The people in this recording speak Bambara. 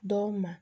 Dɔw ma